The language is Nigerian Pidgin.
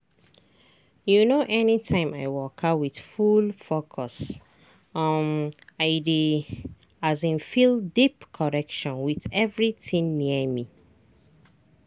you know anytime i waka with full focus um i dey um feel deep connection with everything near me.